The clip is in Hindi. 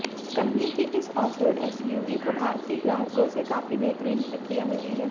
कंपनी की इस ऑफ रोड एसयूवी को भारतीय ग्राहकों से काफी बेहतरीन प्रतिक्रिया मिली है